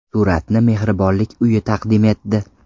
Suratni mehribonlik uyi taqdim etdi.